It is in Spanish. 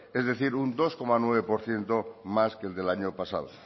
es decir un dos coma nueve por ciento más que el del año pasado